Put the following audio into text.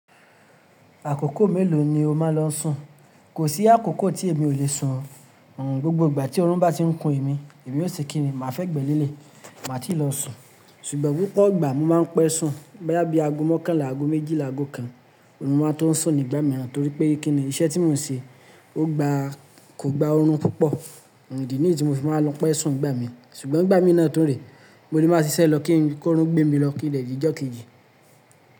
Àkókò mélòó ni o máa ń lọ sùn? Kò sí àkókò tí èmi ò le sùn o. Oo, gbogbo ìgbà tí orun bá ti ń kun èmi, èmi yóò sì kini máa fẹ́gbé lélẹ̀, màá ti lọ sùn. Ṣùgbọ́n púpọ̀ ìgbà mo máa ń pẹ́ sùn. Boyá bí aago mọ́kànlá, aago méjìlá, aago kan, máa tó sùn nígbà mìíràn torí pé kíni iṣẹ́ tí mò ń ṣe kò gba òòrùn púpọ̀. Oo, ìdi nìyí tí mo fi máa ń lọ pẹ́ sùn nìgbà mìí. Ṣùgbọ́n ìgbà mìí náà tún re, mo lè máa ṣiṣẹ́ lọ kí òòrùn gbé mi lọ ki n dẹ̀ dìí jọ̀ kejí.